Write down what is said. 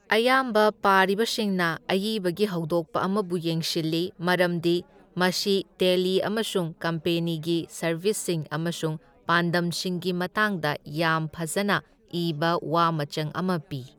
ꯑꯌꯥꯝꯕ ꯄꯥꯔꯤꯕꯁꯤꯡꯅ ꯑꯏꯕꯒꯤ ꯍꯧꯗꯣꯛꯄ ꯑꯃꯕꯨ ꯌꯦꯡꯁꯤꯜꯂꯤ ꯃꯔꯝꯗꯤ ꯃꯁꯤ ꯇꯦꯜꯂꯤ ꯑꯃꯁꯨꯡ ꯀꯝꯄꯦꯅꯤꯒꯤ ꯁꯔꯚꯤꯁꯁꯤꯡ ꯑꯃꯁꯨꯡ ꯄꯥꯟꯗꯝꯁꯤꯡꯒꯤ ꯃꯇꯥꯡꯗ ꯌꯥꯝ ꯐꯖꯅ ꯏꯕ ꯋꯥ ꯃꯆꯪ ꯑꯃ ꯄꯤ꯫